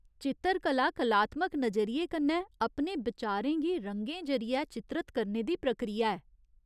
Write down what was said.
चित्तरकला कलात्मक नजरिये कन्नै अपने बचारें गी रंगें जरियै चित्रत करने दी प्रक्रिया ऐ।